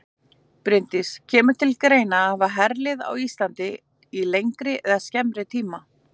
Bryndís: Kemur til greina að hafa herlið á Íslandi í lengri eða skemmri tíma?